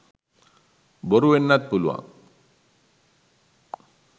බොරු වෙන්නත් පුළුවන්.